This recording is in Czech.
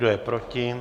Kdo je proti?